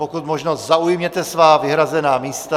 Pokud možno zaujměte svá vyhrazená místa.